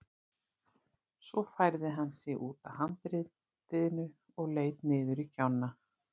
Svo færði hann sig út að handriðinu og leit niður í gjána.